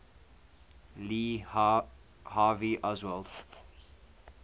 lee harvey oswald